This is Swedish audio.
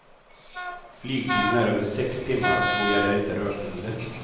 Flygtiden är över sex timmar och då gäller inte rökförbudet.